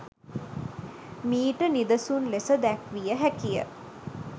මීට නිදසුන් ලෙස දැක්විය හැකිය.